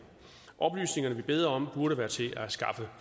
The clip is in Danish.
oplysningerne vi beder om burde være til at skaffe